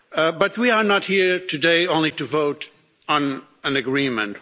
But we are not here today only to vote on an agreement